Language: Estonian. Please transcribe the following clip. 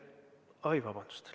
Vabandust!